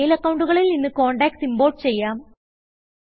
mail അക്കൌണ്ടുകളിൽ നിന്ന് contacts import ചെയ്യാം